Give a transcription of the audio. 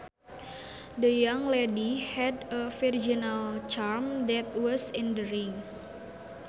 The young lady had a virginal charm that was endearing